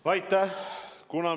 Aitäh!